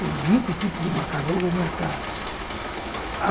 Tem vinte tipos de macarrão na minha casa.